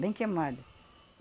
Bem queimado.